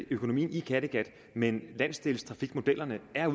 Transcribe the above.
økonomien i kattegat men landsdelstrafikmodellerne er